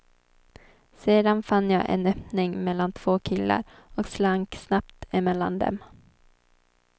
Sedan fann jag en öppning mellan två killar, och slank snabbt emellan dem.